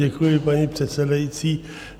Děkuji, paní předsedající.